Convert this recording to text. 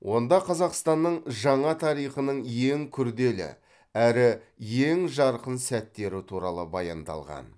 онда қазақстанның жаңа тарихының ең күрделі әрі ең жарқын сәттері туралы баяндалған